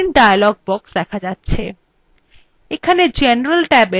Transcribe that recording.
screenএ print dialog box দেখা যাচ্ছে